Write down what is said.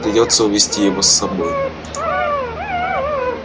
придётся увести его с собой